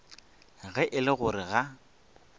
ge e le gore ga